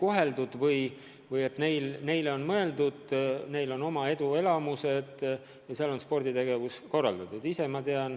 Nad tunnevad, et neile on mõeldud, neil on oma eduelamused ja ka sporditegevus on korraldatud.